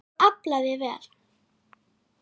Og aflaði vel.